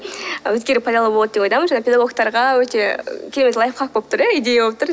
пайдалы болады деген ойдамын және педагогтарға өте керемет лайфхак болып тұр иә идея болып тұр